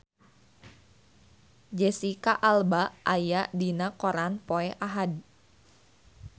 Jesicca Alba aya dina koran poe Ahad